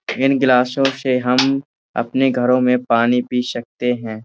इन गिलासों से हम अपने घरो में पानी पी सकते हैं।